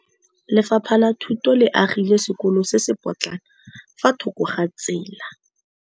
Lefapha la Thuto le agile sekôlô se se pôtlana fa thoko ga tsela.